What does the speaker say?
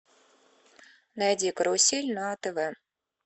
найди карусель на тв